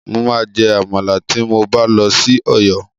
Mo máa jẹ àmàlà tí mo bá lọ sí Ọ̀yọ́.